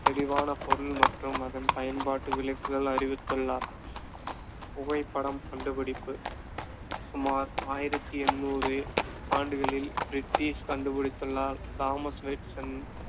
தெளிவான பொருள் மற்றும் அதன் பயன்பாட்டு விளக்குதல் அறிவித்துள்ளார். புகைப்படம் கண்டுபிடிப்பு சுமார் ஆயிரத்தி எண்ணூறு ஆண்டுகளில் பிரிட்டிஷ் கண்டுபிடித்துலால், தாமஸ்